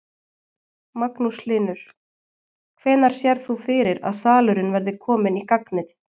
Magnús Hlynir: Hvenær sérð þú fyrir að salurinn verði kominn í gagnið?